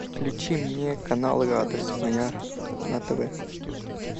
включи мне канал радость моя на тв